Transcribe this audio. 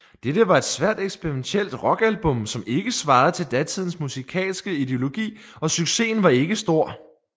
Dette var et svært eksperimentielt rockalbum som ikke svarede til datidens musikalske ideologi og succesen var ikke stor